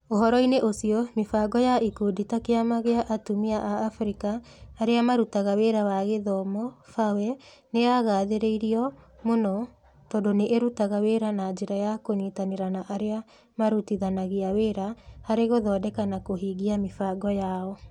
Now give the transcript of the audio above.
Ũhoro-inĩ ũcio, mĩbango ya ikundi ta Kĩama kĩa atumia a Abirika arĩa marutaga wĩra wa gĩthomo (FAWE) nĩ yagathĩrĩirio mũno, tondũ nĩ ĩrutaga wĩra na njĩra ya kũnyitanĩra na arĩa marutithanagia wĩra harĩ gũthondeka na kũhingia mĩbango yao.